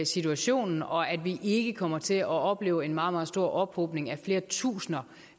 situationen og at vi ikke kommer til at opleve en meget meget stor ophobning af flere tusinde